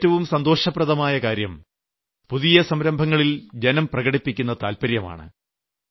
എനിക്ക് ഏറ്റവും സന്തോഷപ്രദമായ കാര്യം പുതിയ സംരംഭങ്ങളിൽ ജനം പ്രകടിപ്പിക്കുന്ന താല്പര്യമാണ്